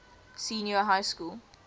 senior high school